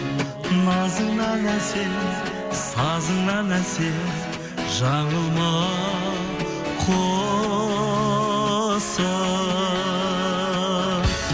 назыңнан әсем сазыңнан әсем жаңылма құсым